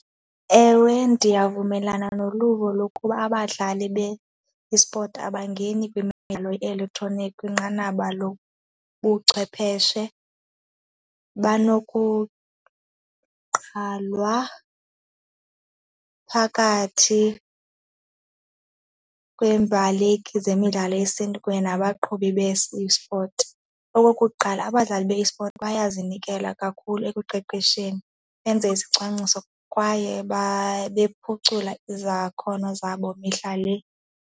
Ewe, ndiyavumelana noluvo lokuba abadlali be-esport abangeni ye-elektroniki kwinqanaba lobuchwepheshe banokuqalwa phakathi kweembaleki zemidlalo yesiNtu kunye nabaqhubi be-esport. Okokuqala, abadlali be-esport bazinikela kakhulu ekuqeqesheni benze isicwangciso kwaye bephucula izakhono zabo mihla le.